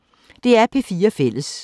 DR P4 Fælles